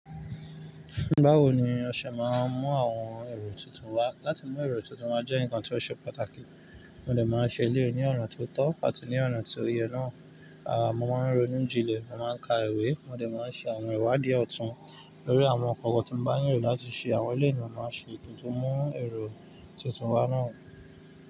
Báwo ni ọṣẹ máa ń mú àwọn èrò tuntun wá? Láti mú èrò tuntun wá jẹ́ ǹkan tó ṣe pàtàkì. Mo dẹ̀ máa ń ṣe ilé ní ọ̀na tó tọ́ àti ní ọ̀na tí o yẹ náà. Aà, mo máa ń ronú jinlẹ̀, mo máa ń ka ìwé, mo dẹ̀ máa ń ṣe àwọn ìwádìí ọ̀tún lórí àwọn ǹkan kan tí mo bá ní ìrò láti ṣe. Àwọn eleyii ni mo máa ṣe kìnto mú èrò tuntun wá náà.